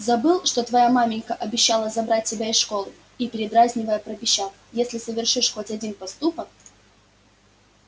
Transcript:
забыл что твоя маменька обещала забрать тебя из школы и передразнивая пропищал если совершишь хоть один поступок